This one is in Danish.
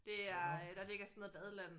Nåh nåh